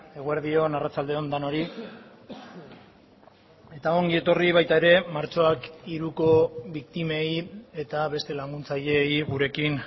eguerdi on arratsalde on denoi eta ongi etorri baita ere martxoak hiruko biktimei eta beste laguntzaileei gurekin